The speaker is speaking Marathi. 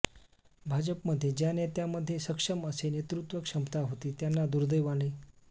भाजपमध्ये ज्या नेत्यांमध्ये सक्षम असे नेतृत्व क्षमता होती त्यांना दुर्दैवाने